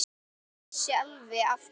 Lóa-Lóa vissi alveg af hverju.